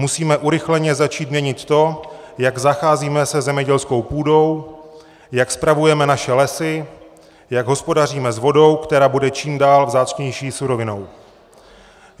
Musíme urychleně začít měnit to, jak zacházíme se zemědělskou půdou, jak spravujeme naše lesy, jak hospodaříme s vodou, která bude čím dál vzácnější surovinou.